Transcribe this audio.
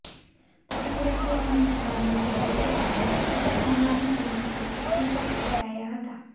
પતંગ રસિયાઓની જબાનમાં કહીએ તો આપણે કટી પતંગ બની એ દિવસે પૃથ્વી પર પટકાયા હતા